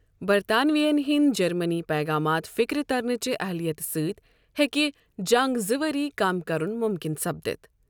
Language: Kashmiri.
برطانویَن ہٕنٛد جرمٕنی ییغامات فِكرِ ترنٕچہِ اہلیتہٕ سۭتۍ ہیكہے جنگ زٕ ؤرۍ كم كرٗن مٗمكِن سپدِتھ ۔